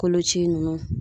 Koloci ninnu